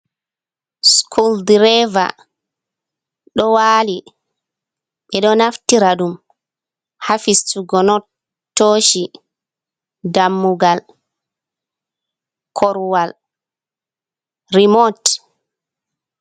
Sukul direeva ɗo waali ɓe ɗo naftira ɗum haa fistugo not, tooshi, dammugal, korwal, remut.